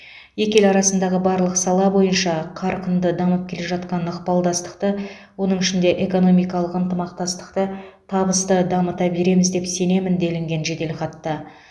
екі ел арасындағы барлық сала бойынша қарқынды дамып келе жатқан ықпалдастықты оның ішінде экономикалық ынтымақтастықты табысты дамыта береміз деп сенемін делінген жеделхатта